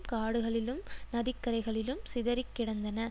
காடுகளிலும் நதிக்கரைகளிலும் சிதறி கிடந்தன